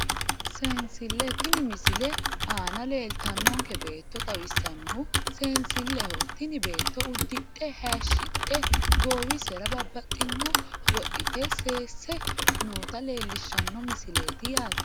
Seensille tinne misile aana leeltannonke beetto xawissannohu seensilleho tini beetto uddidhe hayishshidhe goowiserano babbaxxinore wodhite seesse noota leellishshanno misileeti yaate